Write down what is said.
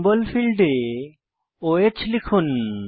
symbol ফীল্ডে o হ্ লিখুন